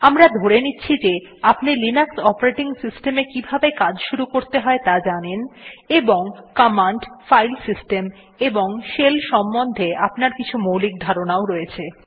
আমরা ধরে নিচ্ছি যে আপনি লিনাক্স অপারেটিং সিস্টেম এ কিভাবে কাজ শুরু করতে হয় ত়া জানেন এবং কমান্ড ফাইল সিস্টেম এবং শেলের সম্বন্ধে আপনার কিছু মৌলিক ধারনাও রয়েছে